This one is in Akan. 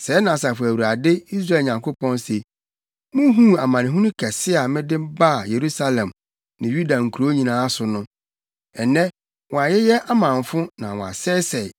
“Sɛɛ na Asafo Awurade, Israel Nyankopɔn, se: Muhuu amanehunu kɛse a mede baa Yerusalem ne Yuda nkurow nyinaa so no. Nnɛ wɔayeyɛ amamfo na wɔasɛesɛe